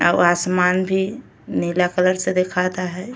और आसमान भी नीला कलर से दिखता हय।